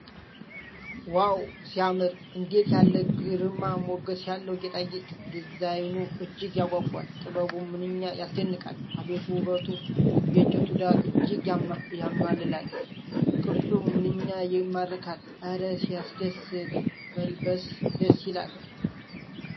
ዋው ሲያምር! እንዴት ያለ ግርማ ሞገስ ያለው ጌጣጌጥ! ዲዛይኑ እጅግ ያጓጓል። ጥበቡ ምንኛ ያስደንቃል! አቤት ውበቱ! የእንጨቱ ዳራ እጅግ ያማልላል። ቅርጹ ምንኛ ይማርካል! እረ ሲያስደስት! መልበስ ደስ ይላል!